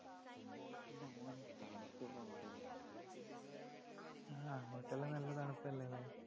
ആ അങ്ങോട്ടെല്ലാം നല്ല തണുപ്പല്ലേ അല്ലേ?